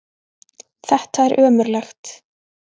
Þetta er ömurlegt!